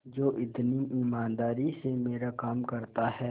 जो इतनी ईमानदारी से मेरा काम करता है